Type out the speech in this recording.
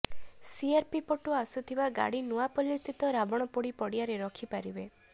CRP ପଟୁ ଆସୁଥିବା ଗାଡ଼ି ନୂଆପଲ୍ଲୀସ୍ଥିତ ରାବଣପୋଡି ପଡ଼ିଆରେ ରଖିପାରିବେ